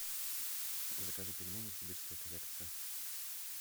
закажи пельмени сибирская коллекция